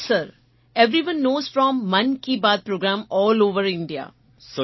yes sir eveyoneએસ know from Mann Ki Baat programme all over India